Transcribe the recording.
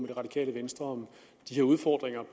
det radikale venstre om de her udfordringer